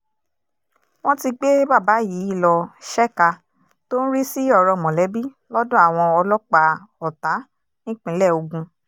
wọ́n ti gbé bàbá yìí lọ ṣèkà tó ń rí sí ọ̀rọ̀ mọ̀lẹ́bí lọ́dọ̀ àwọn ọlọ́pàá ọ̀tá nípínlẹ̀ ogun